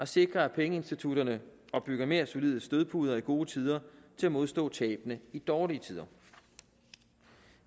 sikre at pengeinstitutterne opbygger mere solide stødpuder i gode tider til at modstå tabene i dårlige tider